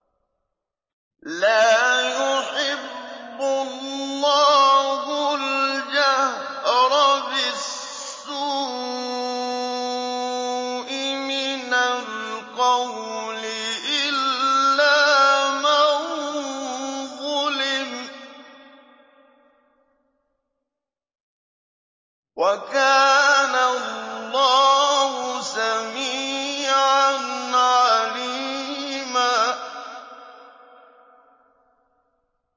۞ لَّا يُحِبُّ اللَّهُ الْجَهْرَ بِالسُّوءِ مِنَ الْقَوْلِ إِلَّا مَن ظُلِمَ ۚ وَكَانَ اللَّهُ سَمِيعًا عَلِيمًا